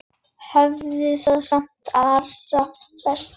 Hafðu það sem allra best.